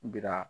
Jira